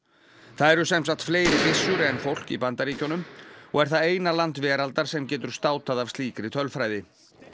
það eru sem sagt fleiri byssur en fólk í Bandaríkjunum og er það eina land veraldar sem getur státað af slíkri tölfræði